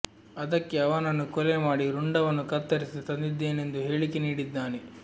ಅದಕ್ಕೇ ಅವನನ್ನು ಕೊಲೆ ಮಾಡಿ ರುಂಡವನ್ನು ಕತ್ತರಿಸಿ ತಂದಿದ್ದೇನೆಂದು ಹೇಳಿಕೆ ನೀಡಿದ್ದಾನೆ